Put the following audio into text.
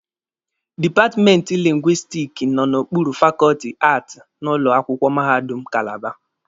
Dipatmenti lingwistiki nọ n'okpuru fakọọtị Aati n'ụlọ akwụkwọ mahadum Kalaba.